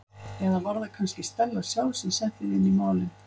Eða var það kannski Stella sjálf sem setti þig inn í málin?